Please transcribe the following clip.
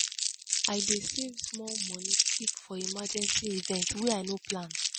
i dey save small moni keep for emergency events wey i no plan.